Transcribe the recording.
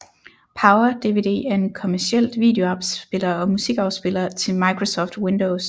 PowerDVD er en kommercielt videoafspiller og musikafspiller til Microsoft Windows